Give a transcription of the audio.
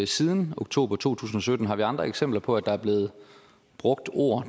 siden oktober 2017 har vi andre eksempler på at der er blevet brugt ord